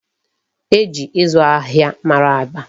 E ji ịzụ ahịa mara Aba.